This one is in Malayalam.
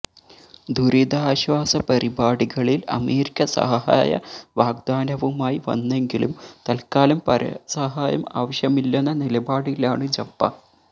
ദുരിതാശ്വാസ പരിപാടികളിൽ അമേരിക്ക സഹായ വാഗ്ദാനവുമായി വന്നെങ്കിലും തൽക്കാലം പരസഹായം ആവശ്യമില്ലെന്ന നിലപാടിലാണ് ജപ്പാൻ